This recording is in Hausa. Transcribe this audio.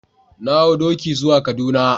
Na hau doki zuwa kaduna.